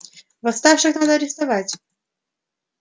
восставших надо арестовывать